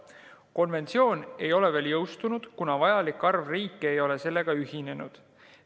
Konventsioon ei ole veel jõustunud, kuna vajalik arv riike ei ole sellega ühinenud.